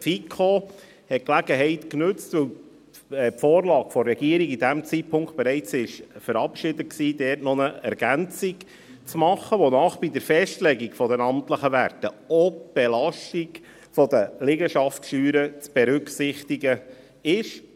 Die FiKo hat die Gelegenheit genutzt, um bei der von der Regierung zu jenem Zeitpunkt bereits verabschiedeten Vorlage noch eine Ergänzung zu machen, wonach bei der Festlegung der amtlichen Werte auch die Belastung der Liegenschaftssteuern zu berücksichtigen sei.